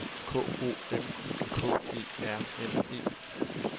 K O M I K E R N E